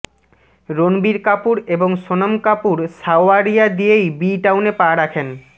রণবীর কাপুর এবং সোনম কাপুর সাওয়ারিয়া দিয়েই বি টাউনে পা রাখেন